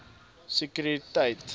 sekretariaat